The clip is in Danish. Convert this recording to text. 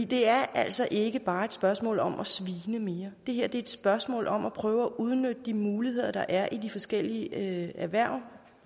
det er altså ikke bare et spørgsmål om at svine mere det her er et spørgsmål om at prøve at udnytte de muligheder der er i de forskellige erhverv